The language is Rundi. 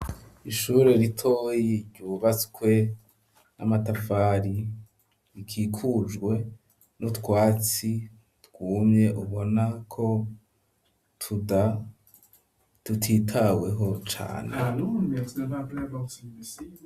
ishure ritoye ryubatswe n'amatafari rikikujwe n'utwatsi twumye ubona ko tutitaweho cane.